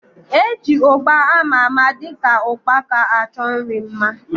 Eji ugba ama ama dịka ukpaka achọ nri mma